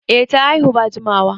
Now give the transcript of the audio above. Eh ta haihu ba jimawa